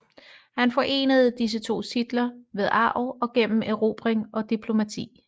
Han forenede disse to titler ved arv og gennem erobring og diplomati